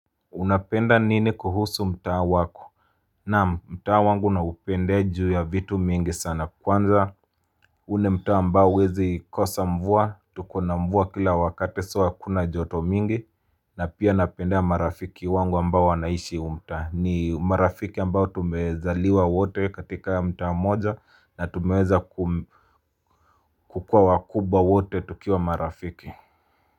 Unapenda nini kuhusu mtaa wako? Naam mtaa wangu na upendea juu ya vitu mingi sana kwanza. Huu ni mtaa mbao huwezi kosa mvua, tukona mvua kila wakati so hakuna joto mingi. Na pia napenda marafiki wangu ambao wanaishi huu mtaa. Ni marafiki ambao tumezaliwa wote katika mtaa mmoja na tumeweza ku kukuwa wakubwa wote tukiwa marafiki.